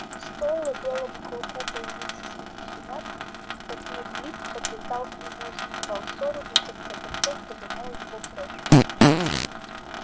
стоило белому клыку появиться среди щенят как лип лип подлетал к нему затевал ссору и в конце концов прогонял его прочь